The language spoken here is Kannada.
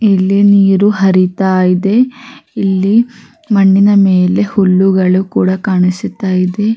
ಇಲ್ಲಿ ನೀರು ಹರಿತ ಇದೆ ಇಲ್ಲಿ ಮಣ್ಣಿನ ಮೇಲೆ ಹುಲ್ಲುಗಳು ಕೂಡ ಕಾಣಿಸುತ್ತ ಇದೆ-